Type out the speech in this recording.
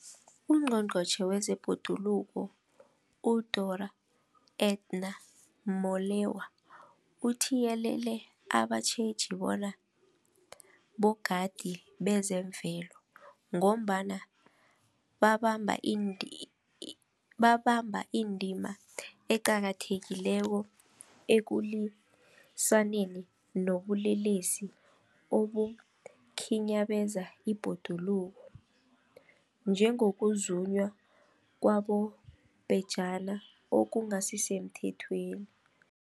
UNgqongqotjhe wezeBhoduluko uDorh Edna Molewa uthiyelele abatjheji bona bogadi bezemvelo, ngombana babamba indima eqakathekileko ekulwisaneni nobulelesi obukhinyabeza ibhoduluko, njengokuzunywa kwabobhejani okungasisemthethweni.